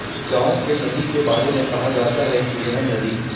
गंाव के नंदी के बारे में कहा जाता है कि यह नंदी